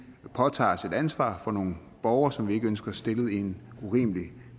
påtager os et ansvar for nogle borgere som vi ikke ønsker stillet i en urimelig